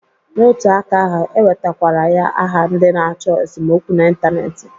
N'otu aka ahụ, e wetakwara ya aha ndị na-achọ esomokwu na Ịntaneetị